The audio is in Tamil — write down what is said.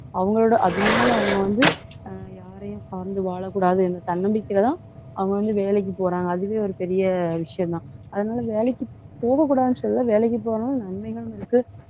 அவங்களோட அதனால அவங்க வந்து, யாரையும் சார்ந்து வாழக்கூடாது என்ற தன்னம்பிக்கையிலதான் அவங்க வந்து வேலைக்கு போறாங்க. அதுவே ஒரு பெரிய விஷயம்தான். அதனால வேலைக்கு போகக் கூடாதுன்னு சொல்லல. வேலைக்கு போனாலும் நன்மைகளும் இருக்கு.